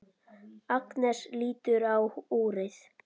Agnes lítur á úrið.